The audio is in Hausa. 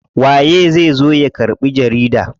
Waye zai zo ya karɓi jarida?